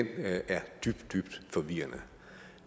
er dybt dybt forvirrende